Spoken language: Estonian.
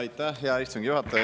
Aitäh, hea istungi juhataja!